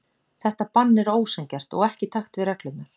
Þetta bann er ósanngjarnt og ekki í takt við reglurnar.